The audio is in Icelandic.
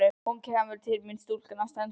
Og hún kemur til mín stúlkan á ströndinni.